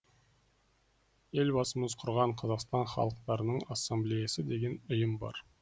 елбасымыз құрған қазақстан халықтарының ассамблеясы деген ұйым бар